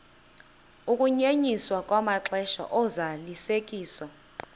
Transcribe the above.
ukunyenyiswa kwamaxesha ozalisekiso